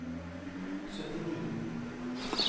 syttini